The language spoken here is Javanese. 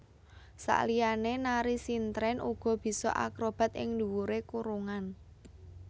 Saliyane nari sintren uga bisa akrobat ing dhuwure kurungan